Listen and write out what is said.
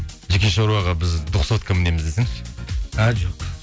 жеке шаруаға біз двухсотка мінеміз десеңші ә жоқ